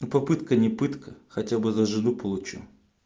ну попытка не пытка хотя бы за жену получу